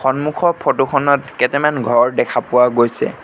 সন্মুখৰ ফটো খনত কেটেমান ঘৰ দেখা পোৱা গৈছে।